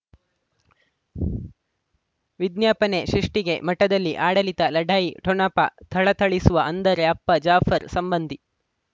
ವಿಜ್ಞಾಪನೆ ಸೃಷ್ಟಿಗೆ ಮಠದಲ್ಲಿ ಆಡಳಿತ ಲಢಾಯಿ ಠೊಣಪ ಥಳಥಳಿಸುವ ಅಂದರೆ ಅಪ್ಪ ಜಾಫರ್ ಸಂಬಂಧಿ